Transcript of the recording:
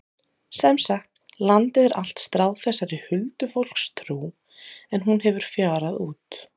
Sem sagt, landið er allt stráð þessari huldufólkstrú en hún hefur fjarað út.